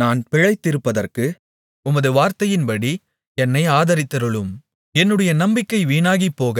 நான் பிழைத்திருப்பதற்கு உமது வார்த்தையின்படி என்னை ஆதரித்தருளும் என்னுடைய நம்பிக்கை வீணாகிப்போக